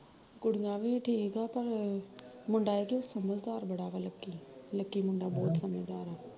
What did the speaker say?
ਕੁੜੀਆ ਵੀ ਠੀਕ ਆ ਪਰ, ਮੁੰਡਾ ਐ ਆ ਕਿ ਸਮਝਦਾਰ ਬੜਾ ਵਾ ਲਕੀ, ਲਕੀ ਮੁੰਡਾ ਬਹੁਤ ਸਮਝਦਾਰ ਆ